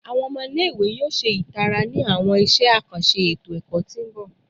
Awọn ọmọ ile-iwe yoo ṣe itara ni awọn iṣẹ akanṣe eto-ẹkọ ti n bọ